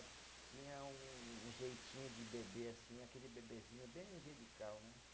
Tinha um um jeitinho de bebê, assim, aquele bebezinho bem angelical, né?